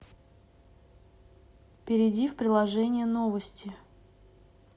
перейди в приложение новости